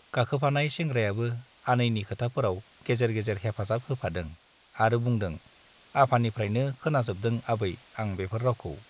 गाखोफानाय सेंग्रायाबो आनैनि खोथाफोराव गेजेर गेजेर हेफाजाब होफादों आरो बुंदों- आफानिफ्राइनो खोनाजोबदों आबै आं बेफोर राउखौ ।